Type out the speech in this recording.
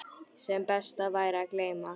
Sem best væri að gleyma.